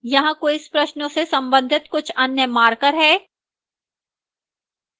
यहां quiz प्रश्नों से संबंधित कुछ अन्य markers हैं